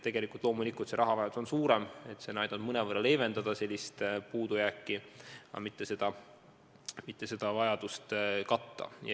Tegelikult loomulikult on rahavajadus suurem, kuid see on aidanud mõnevõrra seda puudujääki leevendada, aga mitte vajadust katta.